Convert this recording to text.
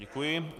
Děkuji.